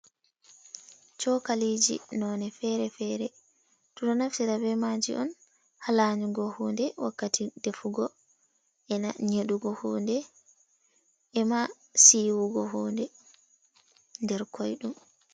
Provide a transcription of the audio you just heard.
Chokaliji none fere-fere. Ɓeɗo naftira be maji oun haa lanyugo hounde wakkati defugo, ena nyeɗugo hunde, ema siwugo hunde nder koidum.